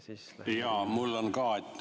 Jaa, mul on ka.